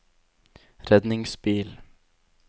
redningsbil